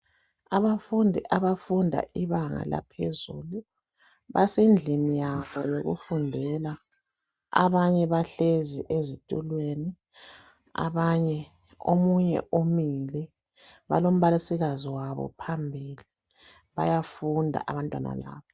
Abafundi abafunda ibanga laphezulu basendlini yabo yokufundela abanye bahlezi ezitulweni omunye umile balombalisikazi wabo phambili bayafunda abantwana laba.